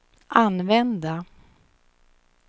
använda